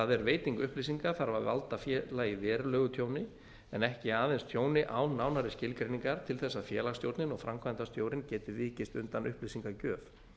er veiting upplýsingar þarf að láta félagið verulegu tjóni en ekki aðeins tjóni án nánari skilgreiningar til þess að félagsstjórnin og framkvæmdastjórinn geti vikist undan upplýsingagjöf